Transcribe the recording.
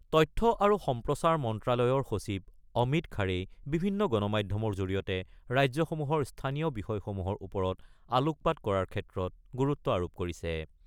তথ্য আৰু সম্প্ৰচাৰ মন্ত্ৰালয়ৰ সচিব অমিত খাৰেই বিভিন্ন গণ মাধ্যমৰ জৰিয়তে ৰাজ্যসমূহৰ স্থানীয় বিষয়সমূহৰ ওপৰত আলোকপাত কৰাৰ ক্ষেত্ৰত গুৰুত্ব আৰোপ কৰিছে।